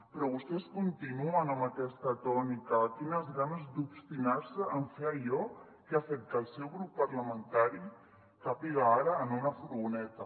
però vostès continuen amb aquesta tònica quines ganes d’obstinar·se en fer allò que ha fet que el seu grup parlamentari càpiga ara en una furgoneta